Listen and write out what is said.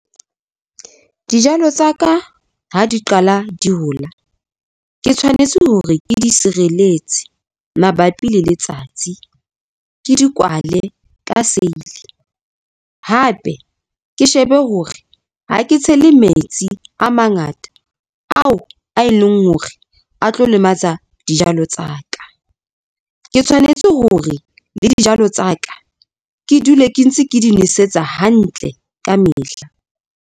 Dijalo tsa ka ha di qala di hola, ke tshwanetse hore ke di sireletse mabapi le letsatsi, ke di kwale ka seili hape ke shebe hore ha ke tshele metsi a mangata ao a e leng hore a tlo lematsa dijalo tsa ka. Ke tshwanetse hore le dijalo tsa ka ke dule ke ntse ke di nosetsa hantle ka mehla.